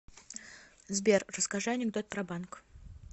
сбер расскажи анекдот про банк